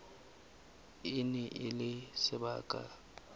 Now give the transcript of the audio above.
e ne e le sebaka